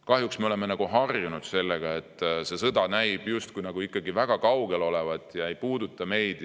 Kahjuks me oleme juba harjunud sellega, et see sõda näib olevat ikkagi väga kaugel ega puuduta meid.